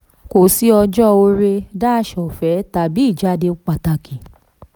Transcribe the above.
29. kò sí ọjọ́ oore-ọ̀fẹ́ tàbí ìjàde pàtàkì.